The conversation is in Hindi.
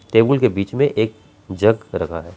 टेबल के बीच में एक जग रखा हैं।